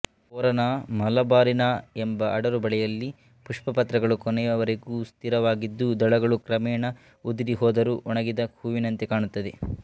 ಪೊರಾನ ಮಲಬಾರಿಕ ಎಂಬ ಅಡರು ಬಳ್ಳಿಯಲ್ಲಿ ಪುಷ್ಪಪತ್ರಗಳು ಕೊನೆಯವರೆಗೂ ಸ್ಥಿರವಾಗಿದ್ದು ದಳಗಳು ಕ್ರಮೇಣ ಉದುರಿ ಹೋದರೂ ಒಣಗಿದ ಹೂವಿನಂತೆ ಕಾಣುತ್ತದೆ